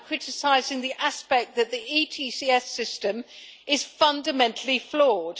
I am criticising the aspect that the ETS system is fundamentally flawed.